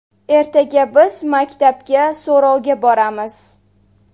Ertaga biz maktabga so‘rovga boramiz.